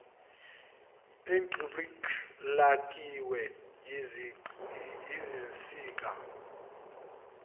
idplg lakhiwe yizinsika